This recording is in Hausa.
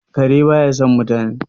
kare ba ya son mutane